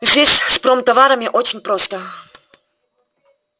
здесь с промтоварами очень просто